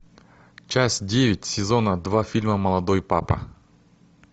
часть девять сезона два фильма молодой папа